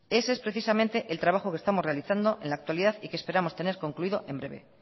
ese es precisamente el trabajo que estamos realizando en la actualidad y que esperamos tener concluido en breve